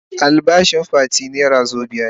Albashin Fati naira wazobia ne.